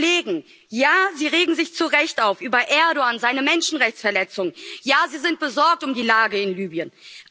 Kollegen, ja, Sie regen sich zurecht auf über Erdoğan, seine Menschenrechtsverletzungen, ja, Sie sind besorgt um die Lage in Libyen.